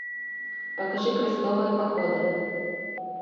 покажи крестовые походы